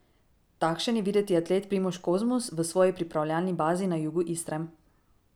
Takšen je videti atlet Primož Kozmus v svoji pripravljalni bazi na jugu Istre.